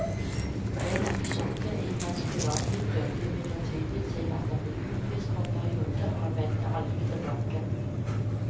En episode i hans privatliv førte imidlertid til at han ble utvist for en periode, og han vendte aldri tilbake.